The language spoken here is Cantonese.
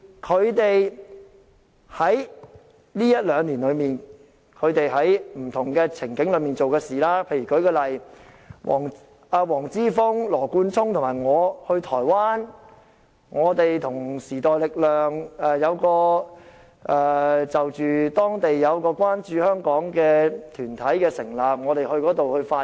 他們在這一兩年內，在不同場合所做的事，舉例來說，黃之峰、羅冠聰和我去台灣，就時代力量等成立的關注香港的團體，我們到那裏發言。